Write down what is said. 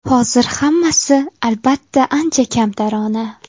Hozir hammasi, albatta, ancha kamtarona.